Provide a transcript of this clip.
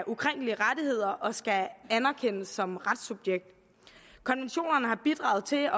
ukrænkelige rettigheder og skal anerkendes som retssubjekt konventionerne har bidraget til at